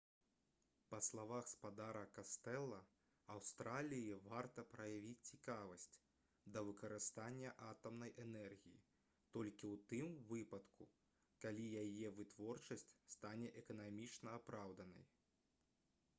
па словах спадара кастэла аўстраліі варта праявіць цікавасць да выкарыстання атамнай энергіі толькі ў тым выпадку калі яе вытворчасць стане эканамічна апраўданай